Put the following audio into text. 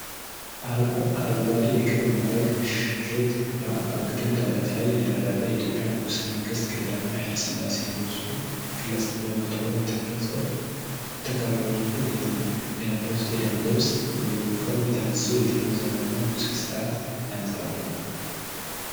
አረንጓዴ የክብር ማዕረግ ሸርጥ በአግድም ደረት ላይ የደረበ፣ የኢትዮጵያው ንጉሠ ነገሥት ቀዳማዊ ኃይለ ሥላሴ የሚመስሉ ግለሰብ በፎቶግራፍ የተቀረጹ የት ነው፡፡ የለበሱት የደንብ ልብስ (ዩኒፎርም) የተነሳው የትኛውን ዘመን እና ንጉሣዊ ሥርዓት ያንፀባርቃል?